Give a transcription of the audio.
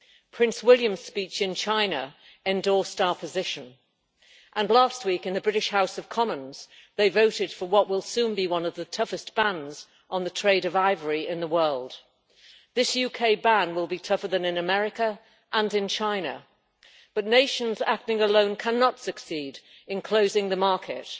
Prince William's speech in China endorsed our position, and last week in the British House of Commons, they voted for what will soon be one of the toughest bans on the trade of ivory in the world. This UK ban will be tougher than America's and China's, but nations acting alone cannot succeed in closing the market.